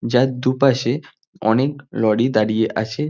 যার দুপাশে অনেক লরি দাঁড়িয়ে আছে।